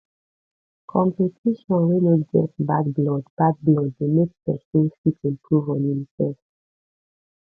competition wey no get bad blood bad blood de make persin fit improve on im self